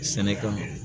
Sɛnɛ kama